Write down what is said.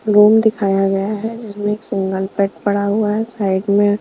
room दिखाया गया है इसमें एक सिंगल पेट पड़ा हुआ है साइड में--